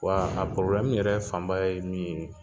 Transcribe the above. Wa a yɛrɛ fan ba ye min ye,